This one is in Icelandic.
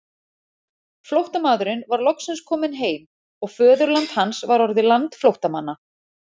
Flóttamaðurinn var loksins kominn heim og föðurland hans var orðið land flóttamanna.